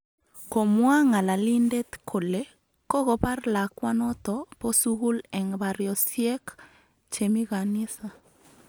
Komwa ng'alalindet kole kokobar lakwanoto bo sugul eng baryosyek chemii kanisa